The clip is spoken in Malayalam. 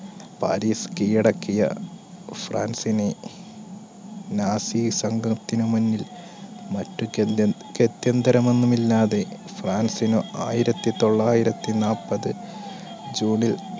പാരീസ് കീഴടക്കിയ ഫ്രാൻസിന് nazi സംഘത്തിന് മുന്നിൽ മറ്റ് ഗത്യ~ഗത്യന്തരം ഒന്നുമില്ലാതെ ഫ്രാൻസിന് ആയിരത്തിതൊള്ളായിരത്തി നാല്പത് june ൽ